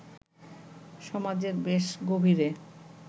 সমাজের বেশ গভীরে